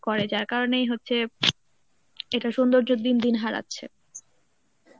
করে যার কারনেই হচ্ছে এটা সৌন্দর্য দিন দিন হারাচ্ছে.